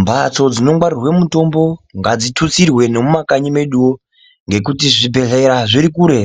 Mbatso dzinongwaririrwa mitombo ngadzitutsirwe nemumakanyi meduwo ngekuti zvibhedhlera zviri kure.